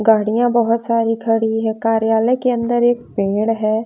गाड़ियां बहुत सारी खड़ी है कार्यालय के अंदर एक पेड़ है।